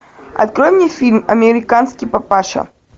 открой мне фильм американский папаша